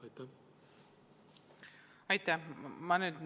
Aitäh!